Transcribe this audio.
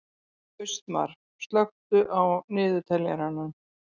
Austmar, slökktu á niðurteljaranum.